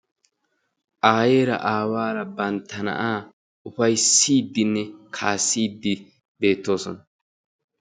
Ayeera aawaara bantta na'aa ufayssiiddinne kaassiiddi beettoosona.